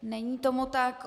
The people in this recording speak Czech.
Není tomu tak.